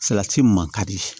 Salati man kadi